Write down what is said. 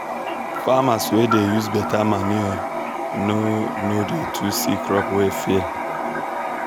farmers wey dey use beta manure no no dey too see crop wey fail.